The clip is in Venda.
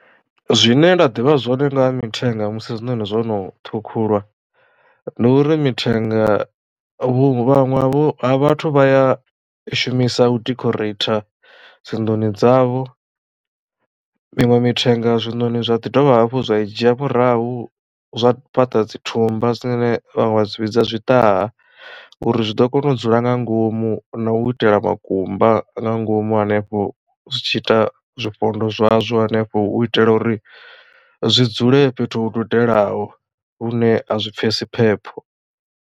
Zwine nda ḓivha zwone ngaha mithenga musi zwiṋoni zwono ṱhukhulwa ndi uri mithenga vhaṅwe vha vhathu vha ya i shumisa u decorate dzi nḓuni dzavho. Miṅwe mithenga zwiṋoni zwa ḓi dovha hafhu zwa i dzhia murahu zwa fhaṱa dzi thumba zwine vhaṅwe vha zwi vhidza zwiṱaha uri zwi ḓo kona u dzula nga ngomu na u itela makumba nga ngomu hanefho zwi tshi ita zwifhondo zwazwo henefho hu u itela uri zwi dzule fhethu hu dugelaho hune a zwi pfhesi phepho.